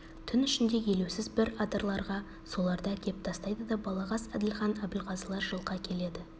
түн ішінде елеусіз бір адырларға соларды әкеп тастайды да балағаз әділхан абылғазылар жылқы әкеледі